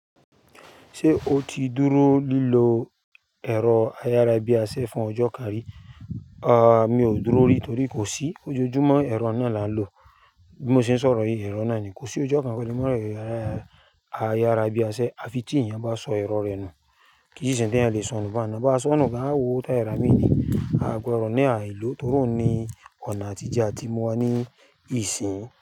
Ṣé o ti dúró lílọ ẹ̀rọ ayárábiásẹ́ fún ọjọ́ kan rí? Mi ò dúró rí torí kò sí. Ojoojúmọ́ ẹ̀rọ náà là ń lò. Bí mo ṣe ń sọ̀rọ̀ yìí, ẹ̀rọ náà ni kò sí ojo kan kò lè lo ẹ̀rọ ayárábiásẹ́. A fi tí èèyàn bá sọ ẹ̀rọ rẹ̀ nù. Kì í sì ń ṣe ohun tí eyan lè sọnù bá ń nà. Bá sọnù gan, a w'owó tia rà míi. A gbọ́dọ̀ ní àìló torí ohun n ni ọ̀nà àtijẹ́ àti ìmúwá ní ìsìn.